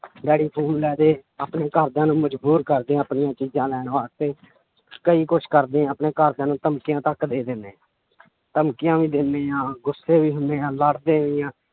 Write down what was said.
daddy phone ਲੈ ਦੇ ਆਪਣੇ ਘਰਦਿਆਂ ਨੂੰ ਮਜ਼ਬੂਰ ਕਰਦੇ ਹਾਂ ਆਪਣੀਆਂ ਚੀਜ਼ਾਂ ਲੈਣ ਵਾਸਤੇ ਕਈ ਕੁਛ ਕਰਦੇ ਹਾਂ ਆਪਣੇ ਘਰਦਿਆਂ ਨੂੰ ਧਮਕੀਆਂ ਤੱਕ ਦੇ ਦਿਨੇ ਧਮਕੀਆਂ ਵੀ ਦਿੰਦੇ ਹਾਂ ਗੁੱਸੇ ਵੀ ਹੁੰਦੇ ਹਾਂ ਲੜਦੇ ਵੀ ਹਾਂ